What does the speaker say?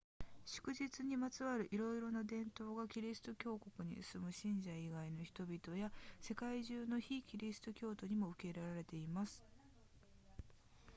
祝日にまつわるいろいろな伝統がキリスト教国に住む信者以外の人々や世界中の非キリスト教徒にも受け入れられています